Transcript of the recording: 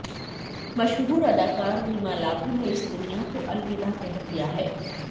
मशहूर अदाकार रीमा लागू ने इस दुनिया को अलविदा कह दिया है